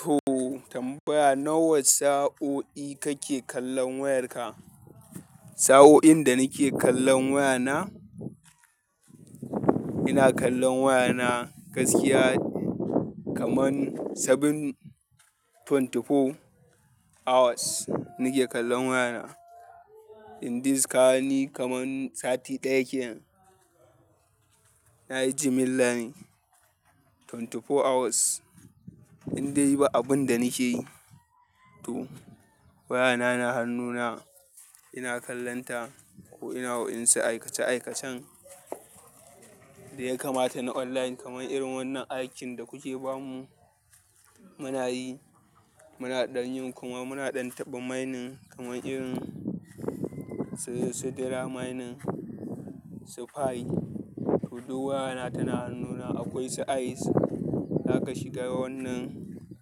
To tambaya, "Nawa sa'o'i kake kallon wayarka?" Sa'o'in da nake kallon wayana, ina kallon wayana gaskiya kaman bakwai da digo huɗu hours nake kallon wayana. In this kaga ni kaman sati ɗaya kenan, na yi jimillan ashirin da huɗu hours. In dai ba abun da nake yi to wayana na hannuna ina kallon ta, ko ina waƴansu aikace-aikacen da ya kamata na online, kaman irin wannan aikin da kuke ba mu muna yi. Muna ɗan yin kuma muna ɗan taɓa mining kaman irin sidira mining, su pi. To duk wayana tan hannuna, akwai su ice, zaka shiga wannan,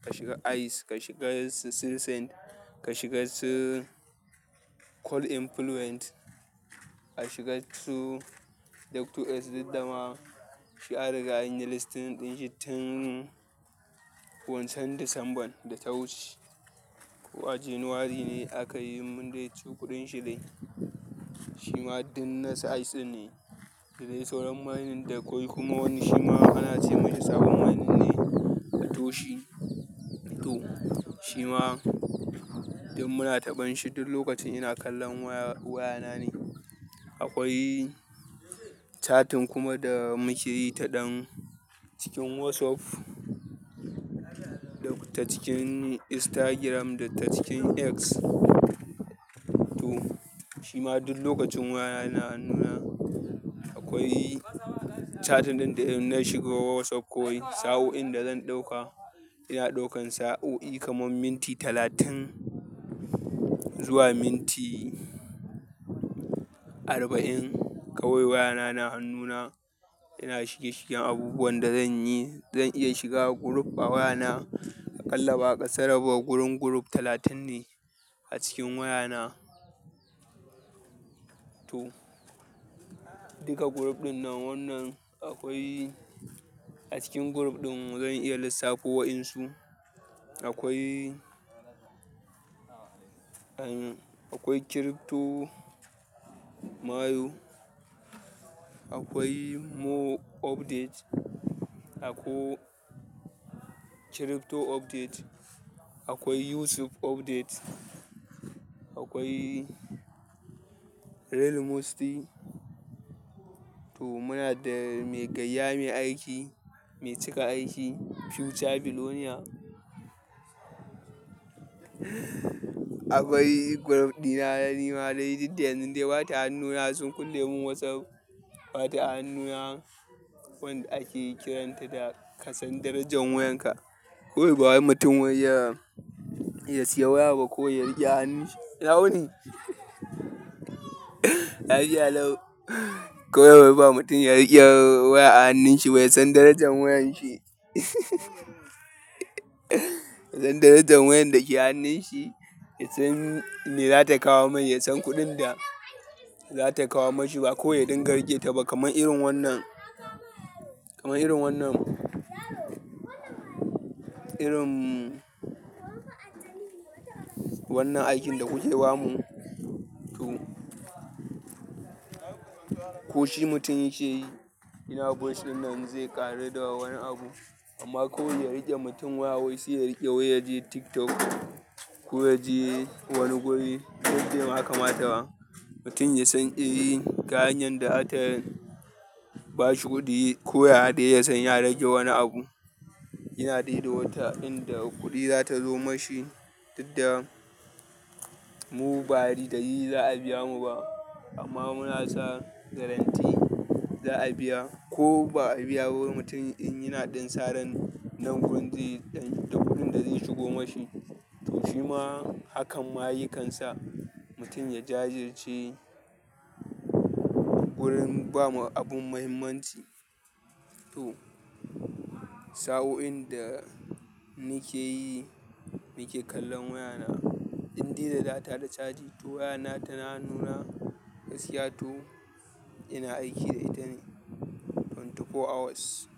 ka shiga ice, ka shiga sinsin, ka shiga su call influence, a shiga su doctor S. Duk dama shi an riga anyi listin ɗin shi tun wancan Disambar da ta wuce ko a Janairu ne aka yi mun dai ci ƙuɗin shi dai. Shi ma din nan ice ne, sai dai sauran mining da akwai kuma wani shima ana ce masa sabon mining ne na Toshi. To ahima duk muna taɓan shi duk lokacin ina kallon waya na ne, akwai chatting kuma da muke yi ta ɗan, cikin WhatsApp, ta cikin Instagram da ta cikin X to shima duk lokacin wayana na hannuna, akwai chatting ɗin da in na shigo WhatsApp kawai sa'o'in da zan ɗauka, ina ɗaukan sa'o'i kaman minti talatin zuwa minti arba'in kawai wayana na hannuna ina shige-shigen abubuwan da zan yi. Zan iya shiga group a wayana aƙalla ba akasara ba gurun group talatin ne a cikin wayana. To duka group ɗin nan, wannan akwai a cikin group ɗin zan iya lissafo wa'insu. Akwai, akwai crypto mayo, akwai more update, ako crypto update, akwai Yusuf update, akwai real musty. To muna da mai gayya, mai aiki, mai cika aiki, Future Bilonia. Akwai group ɗina na nema dai duk da yanzu dai ba ta hannuna sun kulle mun WhatsApp, ba ta hannuna wanda ake kiranta da kasan darajan wayanka. Kawai ba wai mutum wai ya siya waya ba ko ya riƙe a hannun shi, ya wuni. Lafiya lau, kawai wai ba mutum ya riƙe waya a hannun shi ba, ya san darajar wayan shi ya san darajan wayan da ke hannun shi, ya san me za ta kawo mai, ya san kuɗin da za ta kawo mashi, ba kawai ya dinga riƙe ta ba kaman irin wannan, kaman irin wannan, irin wannan aikin da kuke ba mu. To, ko shi mutum yake yi, yana voice ɗin nan zai ƙaru da wani abu, amma kawai ya riƙe mutum waya wai sai ya riƙe waya, ya je TikTok ko ya je wani guri, duk dai ba bai kamata ba. Mutum ya san eh ga hanyar da za ta bashi kuɗi ko waya dai ya san ya rage wani abu. Yana dai da wata inda kuɗi za ta zo mashi, duk da mu ba a rida yi za a biya mu ba, amma muna sa garantti za a biya ko ba a biya wani mutum in yana ɗan saran nan kuɗin da zai shigo mashi. To shima hakan ma yakan sa, mutum ya jajirce wurin ba mu abun muhimmanci. To saoin da nake yi nake kallon wayana, in dai da data da caji, to wayana tana hannuna, gaskiya to, ina aiki da ita ne, ashirin da huɗu hours.